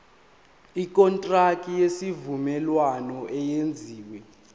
ikontraki yesivumelwano eyenziwe